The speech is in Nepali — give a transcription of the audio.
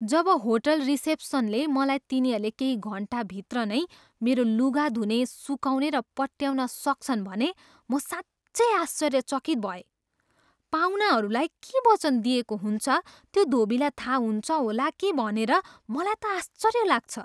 जब होटल रिसेप्सनले मलाई तिनीहरूले केही घन्टाभित्र नै मेरो लुगा धुने, सुकाउने, र पट्ट्याउन सक्छन् भने म साँच्चै आश्चर्यचकित भएँ। पाहुनाहरूलाई के वचन दिइएको हुन्छ त्यो धोबीलाई थाहा हुन्छ होला के भनेर मलाई त आश्चर्य लाग्छ।